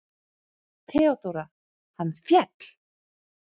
THEODÓRA: Hann féll!